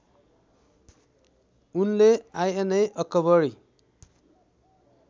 उनले आइनएअकबरी